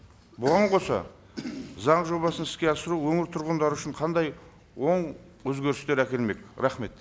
бұған қоса заң жобасын іске асыру өңір тұрғындары үшін қандай оң өзгерістер әкелмек рахмет